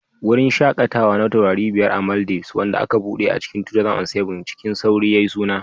Wurin shakatawa na taurari biyar a Maldives, wanda aka buɗe a cikin 2007, cikin sauri yayi suna